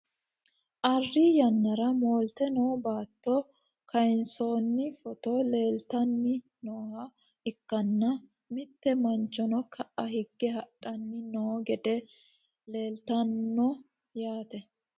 arri yannara moolte noo baatto kayiinsoonni footo leeltanni nooha ikkanna, mitte manchono ka'a higge hadhanni noo gede leeltanno yaate .